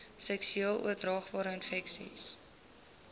seksueel oordraagbare infeksies